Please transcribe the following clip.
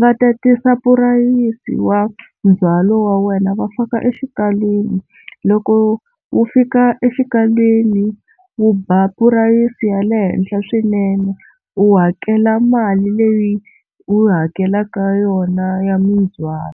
va tatisa tipurayisi wa ndzhwalo wa wena va faka exikalwini, loko wu fika exikalwini wu ba purayisi ya le henhla swinene u hakela mali leyi u hakelaka yona ya mindzwalo.